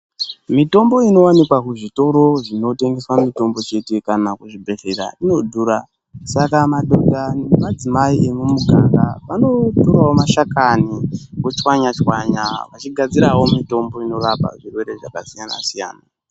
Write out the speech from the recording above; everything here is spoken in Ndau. Mitombo inowanikwa kuzvitoro zvinotengeswa mitombo chete kana muzvibhedhlera inodhura saka madhodha nemadzimai emumuganga vanotorawo mashakani vochwanya chwanya vachigadzirawo mitombo inorapa zvirwere zvakasiyana siyana.